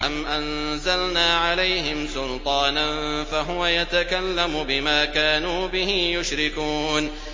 أَمْ أَنزَلْنَا عَلَيْهِمْ سُلْطَانًا فَهُوَ يَتَكَلَّمُ بِمَا كَانُوا بِهِ يُشْرِكُونَ